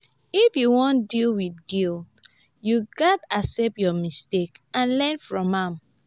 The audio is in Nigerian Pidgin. if you wan deal wit guilt you gats accept your mistake and learn from am